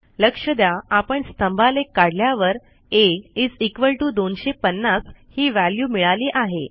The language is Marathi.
लक्ष द्या आपण स्तंभालेख काढल्यावर a250 ही व्हॅल्यू मिळाली आहे